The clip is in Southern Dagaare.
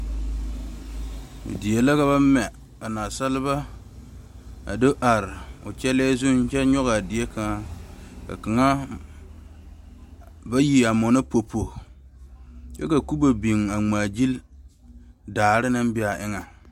Die la ka ba mɛ ka naasaalba a do are o kyɛlɛ zuŋ kyɛ nyɔge a die kaŋ, ka bayi a zʋnno popo kyɛ ka kubo biŋ a ŋaa gyile daare naŋ be a eŋɛ